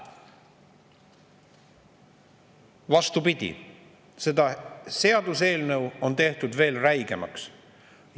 Vastupidi, see seaduseelnõu on tehtud veel räigemaks.